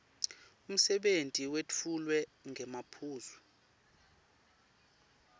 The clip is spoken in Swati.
umsebenti wetfulwe ngemaphuzu